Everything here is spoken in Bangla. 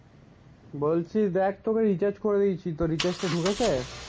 বলছি দেখ তোকে রিচার্জ করে দিয়েছি তোর রিচার্জটা ঢুকেছে?